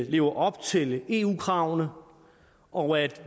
lever op til eu kravene og at